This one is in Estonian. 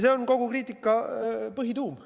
See on kogu kriitika põhituum.